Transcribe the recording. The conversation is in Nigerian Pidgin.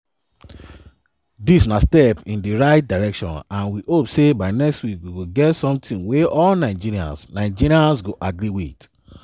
dis na step in di right direction and we hope say by next week we go get something wey all nigerians nigerians go agree wit.”